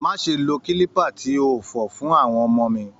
Máṣe lo kilipa tí o fọ fún àwọn ọmọ mi!